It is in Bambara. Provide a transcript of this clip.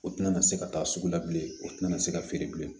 O tɛna na se ka taa sugu la bilen o tɛna se ka feere bilen